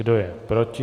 Kdo je proti?